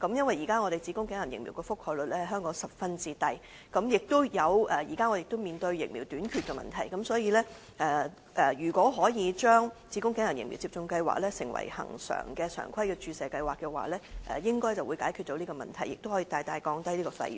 現時香港子宮頸癌疫苗的覆蓋率十分低，而且目前我們也面對疫苗短缺的問題，所以如果可以將子宮頸癌疫苗接種計劃成為恆常的注射計劃，應該可以解決這問題，並大大降低有關費用。